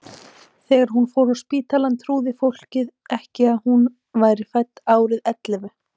Þegar hún fór á spítalann trúði fólkið ekki að hún væri fædd árið ellefu.